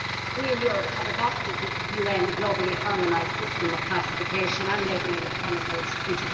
We in Europe adopted the UN globally harmonised system of classification and labelling of chemicals in